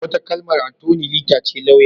Wata kalmar Attoni lita ce lauya.